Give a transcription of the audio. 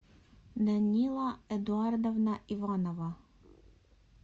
данила эдуардовна иванова